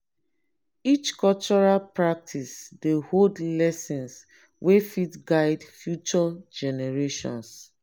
each cultural practice dey hold lessons wey fit guide future generations.